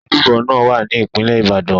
Ojúbọ náà wá ní ìpínlẹ̀ Ìbàdàn.